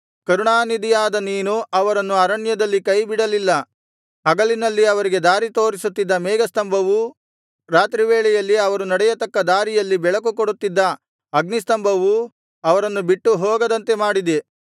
ಕರುಣಾನಿಧಿಯಾದ ನೀನು ಅವರನ್ನು ಅರಣ್ಯದಲ್ಲಿ ಕೈಬಿಡಲಿಲ್ಲ ಹಗಲಿನಲ್ಲಿ ಅವರಿಗೆ ದಾರಿ ತೋರಿಸುತ್ತಿದ್ದ ಮೇಘಸ್ತಂಭವೂ ರಾತ್ರಿವೇಳೆಯಲ್ಲಿ ಅವರು ನಡೆಯತಕ್ಕ ದಾರಿಯಲ್ಲಿ ಬೆಳಕುಕೊಡುತ್ತಿದ್ದ ಅಗ್ನಿಸ್ತಂಭವೂ ಅವರನ್ನು ಬಿಟ್ಟುಹೋಗದಂತೆ ಮಾಡಿದೆ